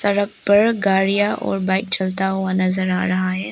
सड़क पर गाड़ियां और बाइक चलता हुआ नजर आ रहा है।